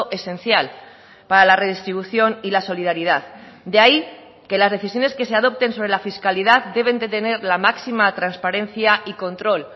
esencial para la redistribución y la solidaridad de ahí que las decisiones que se adopten sobre la fiscalidad deben de tener la máxima transparencia y control